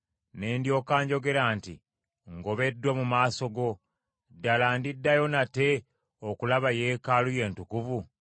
Ne ndyoka njogera nti, ‘Ngobeddwa mu maaso go; Ddala ndiddayo nate okulaba yeekaalu yo entukuvu?’